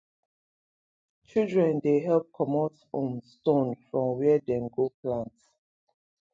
children dey help comot um stone from where dem go plant